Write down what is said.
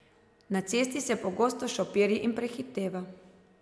Na cesti se pogosto šopiri in prehiteva.